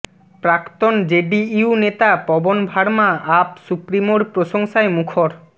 প্রাক্তন জেডিইউ নেতা পবন ভার্মা আপ সুপ্রিমোর প্রশংসায় মুখর